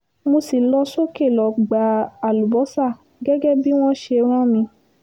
mo sì lọ sókè lọ́ọ́ gba àlùbọ́sà gẹ́gẹ́ bí wọ́n ṣe rán mi